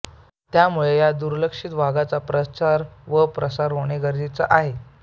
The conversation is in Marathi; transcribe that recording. त्यामुळेच या दुर्लक्षित वाद्याचा प्रचार व प्रसार होणे गरजेचे आहे